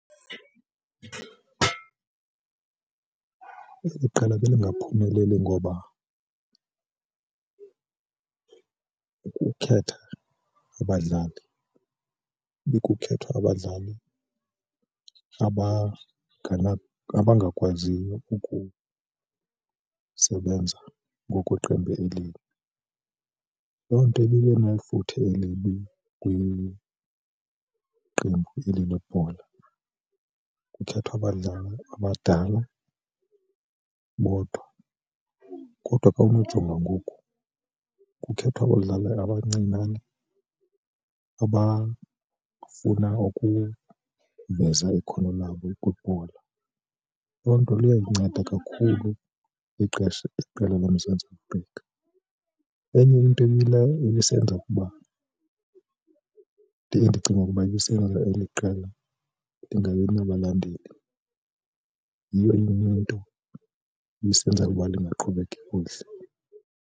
Eli qela belingaphumeleli ngoba ukukhetha abadlali ibikukhethwa kwabadlali abangakwaziyo ukusebenza ngokweqembu elinye. Loo nto ibinefuthe elibi kwiqembu eli lebhola. Kukhethwa abadlali abadala bodwa kodwa kawunojonga ngoku kukhethwa abadlali abancinane abafuna ukuveza ikhono labo kwibhola. Loo nto liyayinceda kakhulu ixesha, iqela loMzantsi Afrika. Enye into ebisenza ukuba ndiye ndicinge ukuba ibisenza eli qela lingabi nabalandeli yiyo enye into lisenza ukuba lingaqhubi kakuhle.